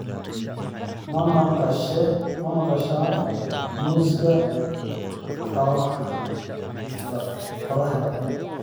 Ma maqashaa muusiga qorraxda?